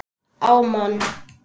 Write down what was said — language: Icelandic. á mann.